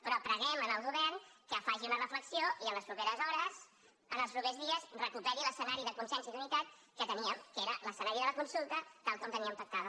però preguem al govern que faci una reflexió i en les properes hores en els propers dies recuperi l’escenari de consens i d’unitat que teníem que era l’escenari de la consulta tal com la teníem pactada